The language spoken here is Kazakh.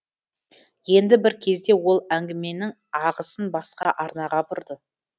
енді бір кезде ол әңгіменің ағысын басқа арнаға бұрды